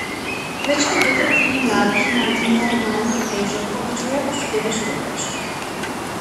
Več kot dve tretjini mladih ima normalno težo, povečuje pa se delež pretežkih.